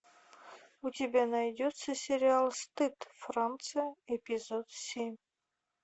у тебя найдется сериал стыд франция эпизод семь